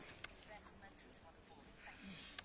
Tisztelt Andor és Hahn biztos urak!